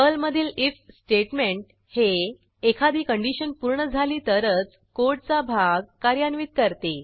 पर्लमधील if statement हे एखादी कंडिशन पूर्ण झाली तरच कोडचा भाग कार्यान्वित करते